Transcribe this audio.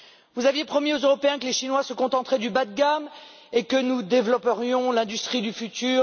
Vous aviez promis aux Européens que les Chinois se contenteraient du bas de gamme et que nous développerions l'industrie du futur.